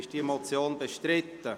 Ist diese Motion bestritten?